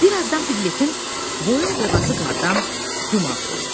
Bir azdan Piqletin boyun-boğazı qardan dumaq oldu.